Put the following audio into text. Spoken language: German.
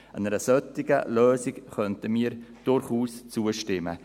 Einer solchen Lösung könnten wir durchaus zustimmen.